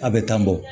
A bɛ tan bɔ